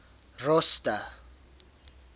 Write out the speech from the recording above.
rosta